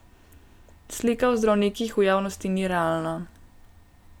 Slika o zdravnikih v javnosti ni realna.